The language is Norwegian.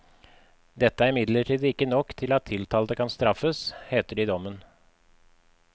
Dette er imidlertid ikke nok til at tiltalte kan straffes, heter det i dommen.